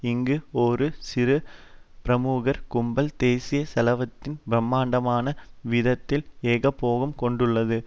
இங்கு ஒரு சிறு பிரமுகர் கும்பல் தேசிய செல்வத்தின் பிரமாண்டமான வீதத்தில் ஏகபோகம் கொண்டுள்ளது